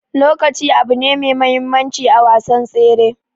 Lokaci abune me muhimmancin a wasan tsere.